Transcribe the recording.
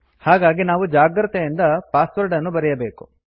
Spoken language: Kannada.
ಹಾಗಾಗಿ ನಾವು ಜಾಗ್ರತೆಯಿಂದ ಪಾಸ್ವರ್ಡ ಅನ್ನು ಬರೆಯಬೇಕು